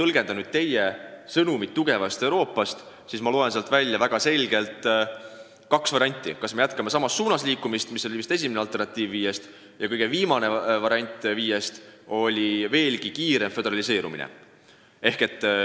Kui ma nüüd tõlgendan sõnumit tugevast Euroopast, siis ma loen sealt välja kaks selget varianti: kas me jätkame samas suunas liikumist – see oli vist esimene viiest võimalusest –, või teine variant, mis oli loetelus kõige viimane: veelgi kiirem föderaliseerumine.